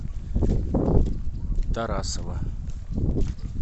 тарасова